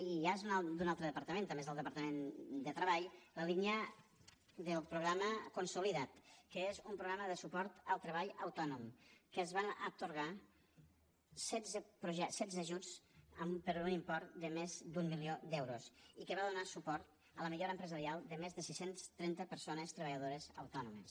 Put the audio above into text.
i ja és d’un altre departament també és del departament de treball la línia del programa consolida’t que és un programa de suport al treball autònom que es van atorgar setze ajuts per un import de més d’un milió d’euros i que va donar suport a la millora empresarial de més de sis cents i trenta persones treballadores autònomes